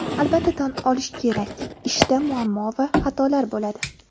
Albatta tan olish kerak ishda muammo va xatolar bo‘ladi.